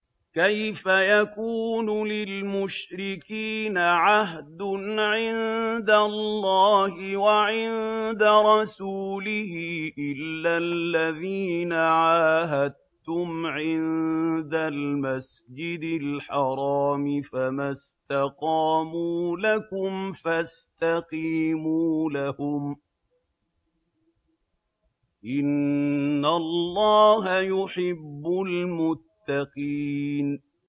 كَيْفَ يَكُونُ لِلْمُشْرِكِينَ عَهْدٌ عِندَ اللَّهِ وَعِندَ رَسُولِهِ إِلَّا الَّذِينَ عَاهَدتُّمْ عِندَ الْمَسْجِدِ الْحَرَامِ ۖ فَمَا اسْتَقَامُوا لَكُمْ فَاسْتَقِيمُوا لَهُمْ ۚ إِنَّ اللَّهَ يُحِبُّ الْمُتَّقِينَ